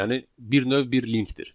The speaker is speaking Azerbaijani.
Yəni bir növ bir linkdir.